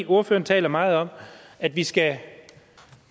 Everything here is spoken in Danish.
ordføreren taler meget om at vi skal